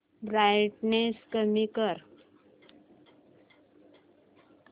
brightness कमी कर